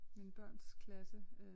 Mine børns klasse